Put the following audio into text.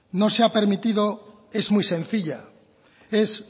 no se ha permitido es muy sencilla